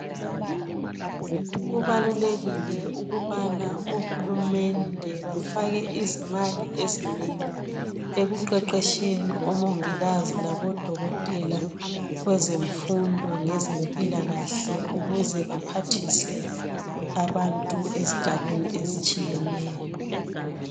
Kubalulekile ukubana ohulumende bafake izimali ezinengi ekuqeqetsheni kmongikazi labodokotela kwezemfundo lezempilakahle ukuze baphathise abantu ezigabeni ezitshiyeneyo.